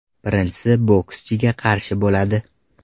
Birinchisi bokschiga qarshi bo‘ladi.